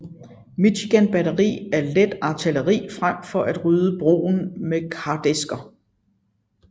Michigan batteri af let artilleri frem for at rydde broen med kardæsker